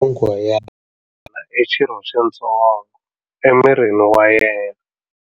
Nyonghwa ya wena i xirho xitsongo emirini wa yena.